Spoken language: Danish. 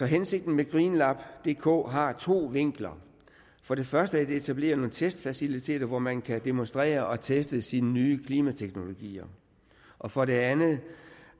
hensigten med green labs dk har to vinkler for det første at etablere nogle testfaciliteter hvor man kan demonstrere og teste sine nye klimateknologier og for det andet